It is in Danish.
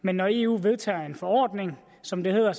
men når eu vedtager en forordning som det hedder